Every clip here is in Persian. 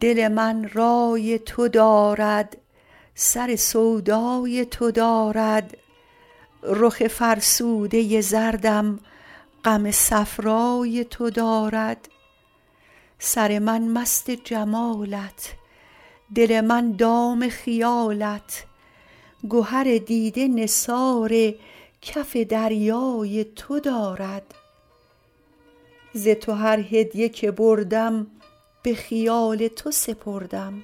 دل من رای تو دارد سر سودای تو دارد رخ فرسوده زردم غم صفرای تو دارد سر من مست جمالت دل من دام خیالت گهر دیده نثار کف دریای تو دارد ز تو هر هدیه که بردم به خیال تو سپردم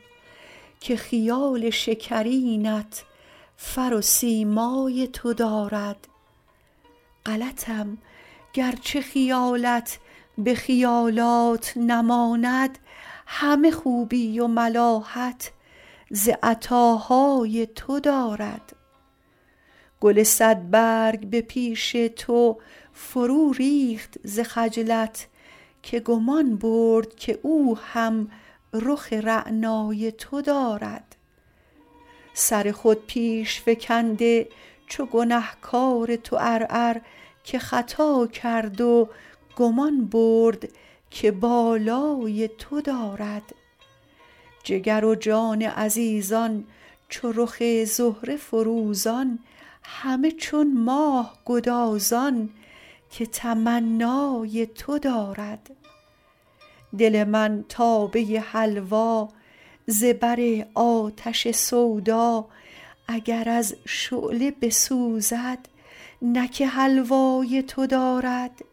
که خیال شکرینت فر و سیمای تو دارد غلطم گرچه خیالت به خیالات نماند همه خوبی و ملاحت ز عطاهای تو دارد گل صدبرگ به پیش تو فروریخت ز خجلت که گمان برد که او هم رخ رعنای تو دارد سر خود پیش فکنده چو گنه کار تو عرعر که خطا کرد و گمان برد که بالای تو دارد جگر و جان عزیزان چو رخ زهره فروزان همه چون ماه گدازان که تمنای تو دارد دل من تابه حلوا ز بر آتش سودا اگر از شعله بسوزد نه که حلوای تو دارد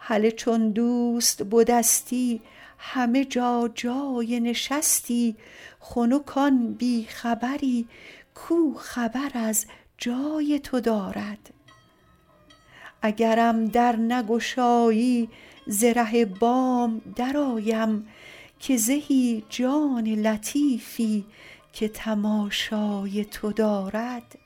هله چون دوست بدستی همه جا جای نشستی خنک آن بی خبری کو خبر از جای تو دارد اگرم در نگشایی ز ره بام درآیم که زهی جان لطیفی که تماشای تو دارد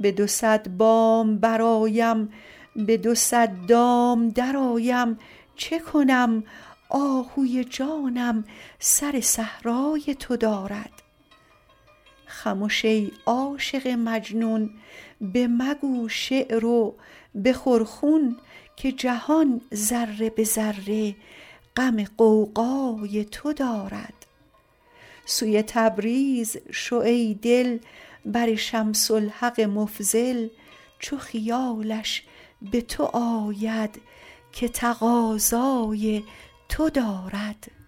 به دو صد بام برآیم به دو صد دام درآیم چه کنم آهوی جانم سر صحرای تو دارد خمش ای عاشق مجنون بمگو شعر و بخور خون که جهان ذره به ذره غم غوغای تو دارد سوی تبریز شو ای دل بر شمس الحق مفضل چو خیالش به تو آید که تقاضای تو دارد